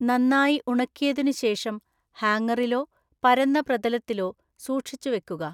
നന്നായി ഉണക്കിയതിനുശേഷം ഹാങ്ങറിലോ പരന്ന പ്രതലത്തിലോ സൂക്ഷിച്ചു വെക്കുക.